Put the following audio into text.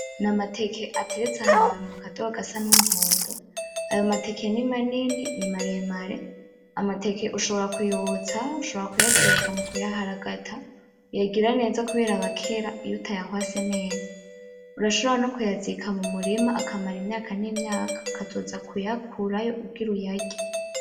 Ni amateke ateretse ahantu mu kadobo gasa n'umuhondo, ayo mateke ni manini, ni maremare, amateke ushobora kuyotsa ushobora kuyateka mukuyaharagata uyagira neza kubera aba akera iyo utayahwase neza urashobora no kuyazika mu murima akamara imyaka n'imyaka ukazoza kuyakurayo ugire uyarye.